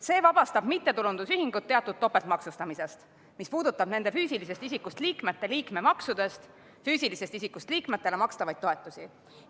See vabastab mittetulundusühingud teatud topeltmaksustamisest, mis puudutab nende füüsilisest isikust liikmete liikmemaksudest füüsilisest isikust liikmetele makstavaid toetusi.